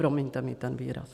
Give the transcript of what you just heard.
Promiňte mi ten výraz.